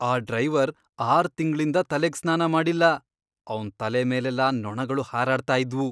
ಆ ಡ್ರೈವರ್ ಆರ್ ತಿಂಗ್ಳಿಂದ ತಲೆಗ್ ಸ್ನಾನ ಮಾಡಿಲ್ಲ, ಅವ್ನ್ ತಲೆ ಮೇಲೆಲ್ಲ ನೊಣಗಳು ಹಾರಾಡ್ತಾ ಇದ್ವು.